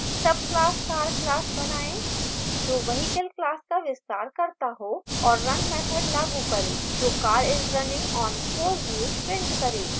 subclass car class बनाएँ जो vehicle class का विस्तार करता हो और run मैथड लागू करें जो car is running on 4 wheels prints car